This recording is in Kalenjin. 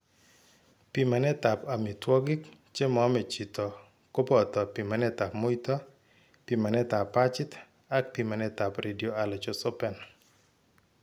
Pimanetab amitwogik che moome chito ko boto pimanetab muito, pimanetab pachit ak pimanetab Radioallergosorbent .